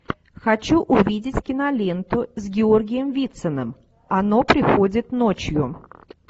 хочу увидеть киноленту с георгием вициным оно приходит ночью